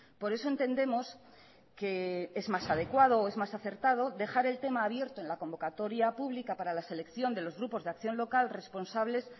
por eso entendemos que es más adecuado o es más acertado dejar el tema abierto en la convocatoria pública para la selección de los grupos de acción local responsables